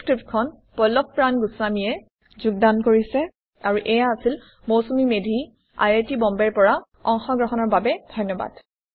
এই পাঠটি পল্লভ প্ৰান গুস্ৱামী দ্ৱাৰা যোগদান কৰা হৈছে এইয়া হৈছে Mousumi Medhi I I T বম্বেৰ পৰা অংশগ্ৰহণৰ বাবে ধন্যবাদ